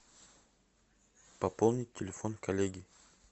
пополнить телефон коллеги